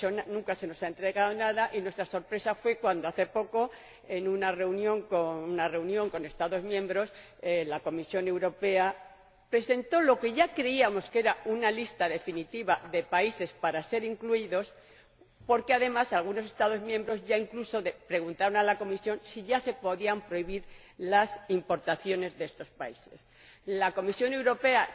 Nunca se nos ha entregado nada y nos sorprendimos cuando hace poco, en una reunión con Estados miembros, la Comisión Europea presentó lo que ya creíamos que era una lista definitiva de países para ser incluidos porque, además, algunos Estados miembros incluso preguntaron a la Comisión si ya se podían prohibir las importaciones de estos países. La Comisión Europea